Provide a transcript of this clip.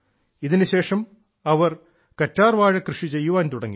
ഇതിനുശേഷം അവർ കറ്റാർവാഴ കൃഷി ചെയ്യാൻ തുടങ്ങി